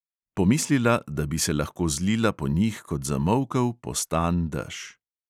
Pomislila, da bi se lahko zlila po njih kot zamolkel, postan dež.